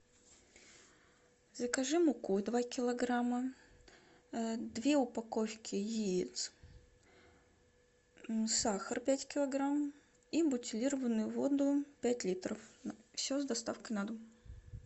закажи муку два килограмма две упаковки яиц сахар пять килограмм и бутилированную воду пять литров все с доставкой на дом